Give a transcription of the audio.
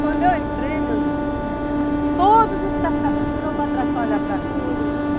Quando eu entrei, meu irmão, todos os pescadores se viraram para trás para olhar para mim.